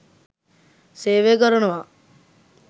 සේවය කරනවා.